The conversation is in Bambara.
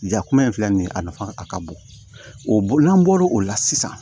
Ja kuma in filɛ nin ye a nafa a ka bon o n'an bɔr'o la sisan